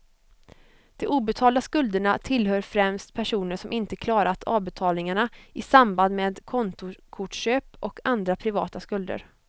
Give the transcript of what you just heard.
De obetalda skulderna tillhör främst personer som inte klarat avbetalningarna i samband med kontokortsköp och andra privata skulder.